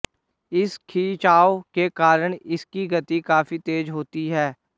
इस खिंचाव के कारण इसकी गति काफी तेज़ होती है